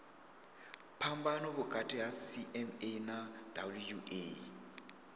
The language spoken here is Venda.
phambano vhukati ha cma na wua